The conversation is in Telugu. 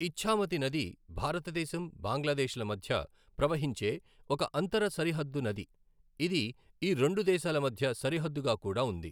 ఇఛ్ఛామతి నది భారతదేశం, బంగ్లాదేశ్ ల మధ్య ప్రవహించే ఒక అంతర సరిహద్దు నది, ఇది ఈ రెండు దేశాల మధ్య సరిహద్దుగా కూడా ఉంది.